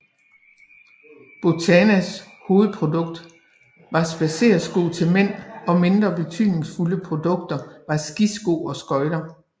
Botanas hovedprodukt var spadseresko til mænd og mindre betydningsfulde produkter var skisko og skøjter